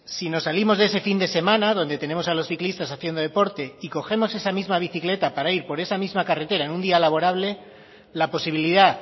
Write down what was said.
si nos salimos de ese fin de semana donde tenemos a los ciclistas haciendo deporte y cogemos esa misma bicicleta para ir por esa misma carretera en un día laborable la posibilidad